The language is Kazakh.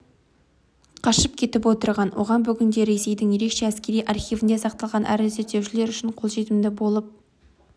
қашып кетіп отырған оған бүгінде ресейдің ерекше әскери архивінде сақталған әрі зерттеушілер үшін қолжетімді болып